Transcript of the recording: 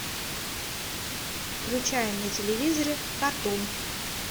включай на телевизоре катун